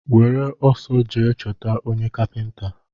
Were ọsọ jee chọta onye kapinta!